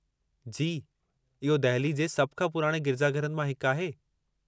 जी, इहो दहिली जे सभ खां पुराणे गिरिजाघरनि मां हिकु आहे।